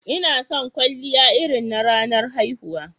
Ina son kwalliya irin na ranar haihuwa.